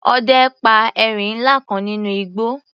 Ọdẹ pa erin ńlá kan nínú igbó.